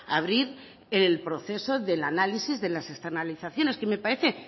abrir el proceso del análisis de la externalizaciones que me parece